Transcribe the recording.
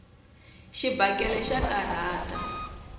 xibakele xa karhata